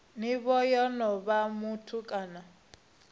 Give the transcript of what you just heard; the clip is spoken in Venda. nivho ya onoyo muthu kana